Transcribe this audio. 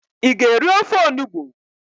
ị ga-eri ofe onugbu?